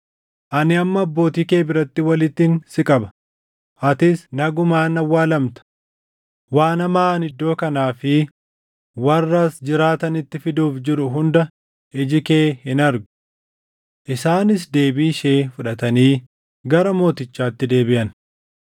Ani amma abbootii kee biratti walittin si qaba; atis nagumaan awwaalamta. Waan hamaa ani iddoo kanaa fi warra as jiraatanitti fiduuf jiru hunda iji kee hin argu.’ ” Isaanis deebii ishee fudhatanii gara mootichaatti deebiʼan.